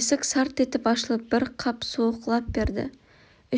есік сарт етіп ашылып бір қап суық лап берді